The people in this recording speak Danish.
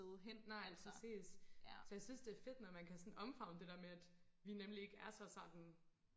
nej præcis så jeg synes det er fedt når man kan sådan omfavne det der med at vi ikke er så sådan